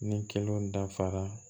Ni kelen dafara